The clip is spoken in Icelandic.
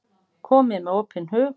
Komið með opinn hug.